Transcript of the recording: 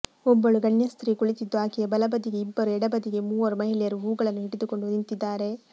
ಒಬ್ಬಳು ಗಣ್ಯಸ್ತ್ರೀ ಕುಳಿತಿದ್ದು ಆಕೆಯ ಬಲಬದಿಗೆ ಇಬ್ಬರು ಎಡಬದಿಗೆ ಮೂವರು ಮಹಿಳೆಯರು ಹೂಗಳನ್ನು ಹಿಡಿದುಕೊಂಡು ನಿಂತಿದ್ದಾರೆ